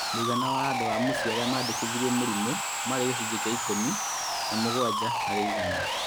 Mũigana wa andũ o mũciĩ arĩa mandĩkithirie mĩrimũ marĩ gĩcunjĩ kĩa ikũmi na mũgwanja harĩ igana